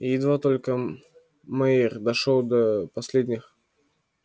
и едва только майер дошёл до последних